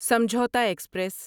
Samjhauta express